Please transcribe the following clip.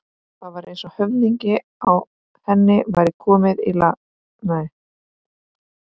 Það var eins og höfuðið á henni væri komið í lag.